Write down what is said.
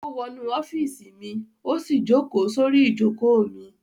Ó wọnú ọ́fíísì mi, ó sì jókòó sórí ìjókòó mi.